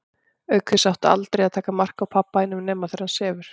Auk þess áttu aldrei að taka mark á pabba þínum nema þegar hann sefur.